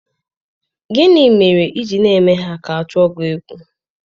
Gịnị mere i ji na-eme ka ha tụọ gi egwu?